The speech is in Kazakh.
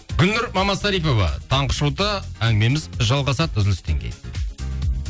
гүлнұр мамасарипова таңғы шоуда әңгімеміз жалғасады үзілістен кейін